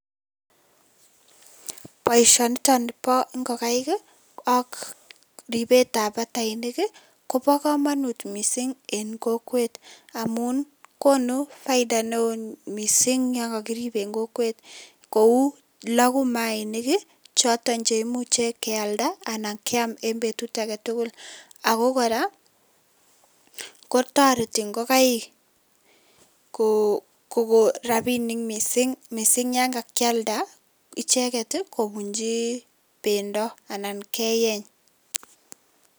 Boisionito bo ngokaik ak ripetab batainik kobo kamanut mising eng kokwet amun konu faida mising yon kakirip eng kokwet kou loku mayainik choto cheimuche kealda anan keam eng betut age tugul ako kora kotoreti ngokaik kokon rapinik mising yon kakialda icheket kobunchi pendo anan keeny.